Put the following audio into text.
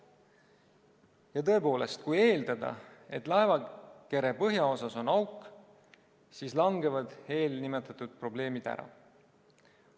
Ja tõepoolest, kui eeldada, et laevakere põhjaosas on auk, siis langevad eelnimetatud probleemid ära.